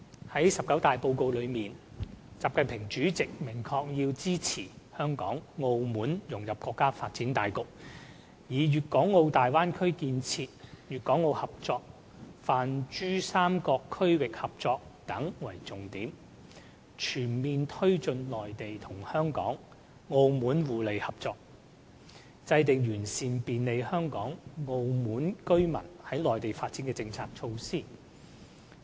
在十九大報告中，習近平主席明確提出"要支持香港、澳門融入國家發展大局，以粵港澳大灣區建設、粵港澳合作、泛珠三角區域合作等為重點，全面推進內地與香港、澳門互利合作，制定完善便利香港、澳門居民在內地發展的政策措施"。